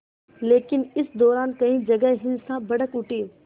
लेकिन इस दौरान कई जगह हिंसा भड़क उठी